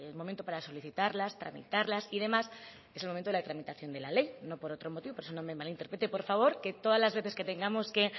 momento para solicitarlas tramitarlas y demás es el momento de la tramitación de la ley no por otro motivo por eso no me malinterprete por favor que todas las veces que tengamos que